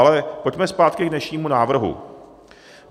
Ale pojďme zpátky k dnešnímu návrhu.